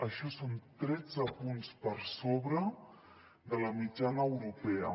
això són tretze punts per sobre de la mitjana europea